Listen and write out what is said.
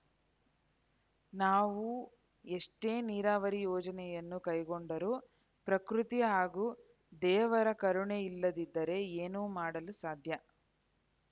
ನಾವೂ ಎಷ್ಟೇ ನೀರಾವರಿ ಯೋಜನೆಯನ್ನು ಕೈಗೊಂಡರೂ ಪ್ರಕೃತಿ ಹಾಗೂ ದೇವರ ಕರುಣೆಯಿಲ್ಲದಿದ್ದರೆ ಏನು ಮಾಡಲು ಸಾಧ್ಯ